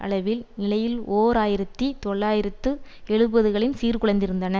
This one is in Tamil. அளவில் நிலையில் ஓர் ஆயிரத்தி தொள்ளாயிரத்து எழுபதுகளின் சீர்குலைந்திருந்தன